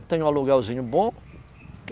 Eu tenho um aluguelzinho bom.